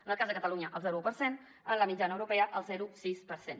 en el cas de catalunya el zero coma un per cent en la mitjana europea el zero coma sis per cent